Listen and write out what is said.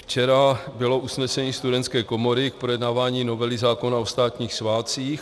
Včera bylo usnesení Studentské komory k projednávání novely zákona o státních svátcích.